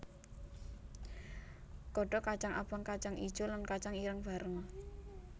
Godhog kacang abang kacang ijo lan kacang ireng bareng